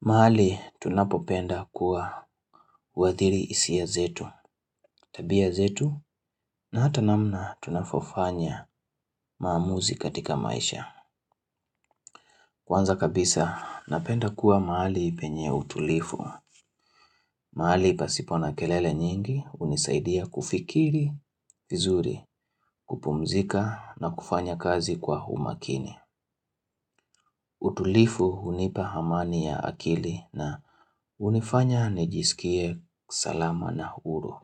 Mahali tunapopenda kuwadhiri hisia zetu, tabia zetu na hata namna tunavofanya maamuzi katika maisha. Kwanza kabisa napenda kuwa mahali penye utulifu. Mahali pasipona kelele nyingi unisaidia kufikiri, vizuri, kupumzika na kufanya kazi kwa umakini. Utulifu hunipa amani ya akili na unifanya nijisikie salama na huru.